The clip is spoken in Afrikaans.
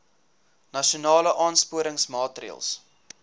nasionale aansporingsmaatre ls